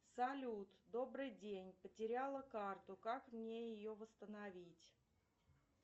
салют добрый день потеряла карту как мне ее восстановить